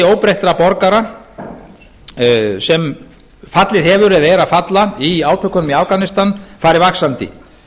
óbreyttra borgara sem fallið hafa eða eru að falla í átökunum í afganistan farið vaxandi